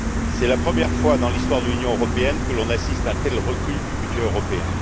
C'est la première fois dans l'histoire de l'Union européenne que l'on assiste à un tel recul du budget européen.